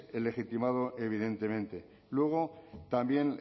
el legitimado evidentemente luego también